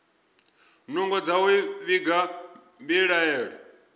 nungo dza u vhiga mbilaelo